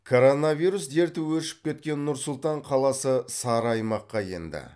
коронавирус дерті өршіп кеткен нұр сұлтан қаласы сары аймаққа енді